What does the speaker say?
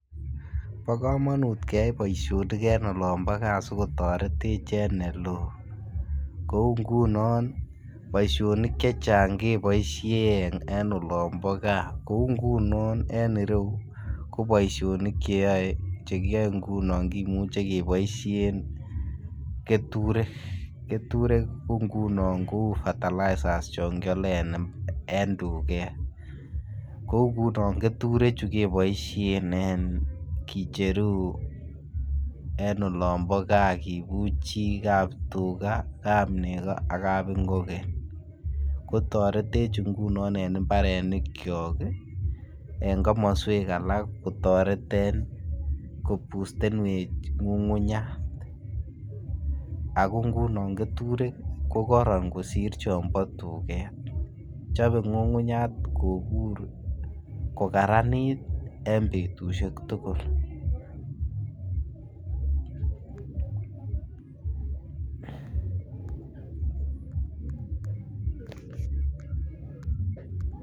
Bo komonut keyay boisionik en olombo gaa si kotoretech en ele oo kouu ngunon boisionik chechang keboishen en olombo gaa kouu ngunon en ireyu ko boisionik che koyoe ngunon kimuche keboishen keturek, keturek ko ngunon ko fertilizers chon kyole en tuget. Kouu ngunon keturechu keboishen en kicheru en olombo gaa kibuchii kaptuga kapnego ak kabingogen kotoretej ngunon en imbarenikyok en komoswek alak kotoret en koboostenwech ngungunyat ako ngunon keturek ko koron kosir chombo tuget chobe ngungunyat kobur kogaranit en betushek tugul